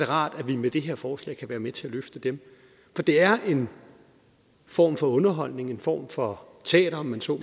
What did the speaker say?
rart at vi med det her forslag kan være med til at løfte dem for det er en form for underholdning en form for teater om man så